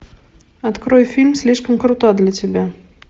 открой фильм слишком крута для тебя